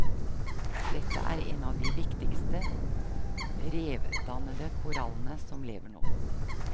Dette er en av de viktigste, revdannende korallene som lever nå.